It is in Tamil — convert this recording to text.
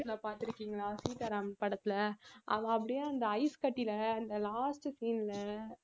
பாத்துருக்கீங்களா சீதாராம் படத்துல அவ அப்படியே அந்த ஐஸ்கட்டியில அந்த last scene ல